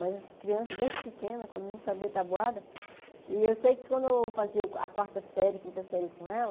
Mas as crianças, desde pequena, quando não sabia tabuada... E eu sei que quando eu fazia a quarta série, quinta série com ela...